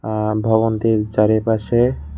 আহহ ভবনটির চারিপাশে।